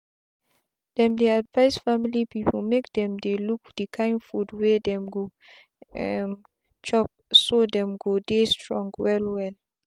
them they advise family people make themdey look the kind food wey dem go um chopso them go dey strong well well